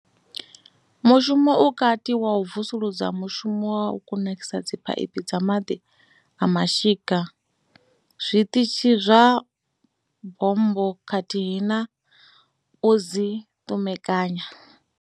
Mushumo u kati wa u vusuludza mishumo ya u kunakisa dziphaiphi dza maḓi a mashika, zwiṱitshi zwa bommbo khathihi na u dzi ṱumekanya.